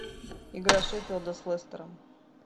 игра шеффилда с лестером